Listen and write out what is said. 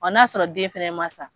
Ɔ n'a sɔrɔ den fana ma sa